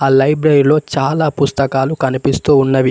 లైబ్రరీలో చాలా పుస్తకాలు కనిపిస్తూ ఉన్నవి.